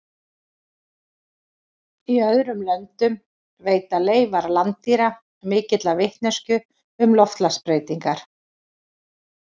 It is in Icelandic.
Í öðrum löndum veita leifar landdýra mikla vitneskju um loftslagsbreytingar.